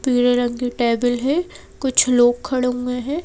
पीले रंग की टेबल है कुछ लोग खड़े हुए हैं।